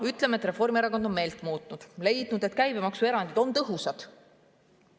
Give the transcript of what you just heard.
Ütleme, et Reformierakond on meelt muutnud ja leidnud, et käibemaksuerandid on tõhusad.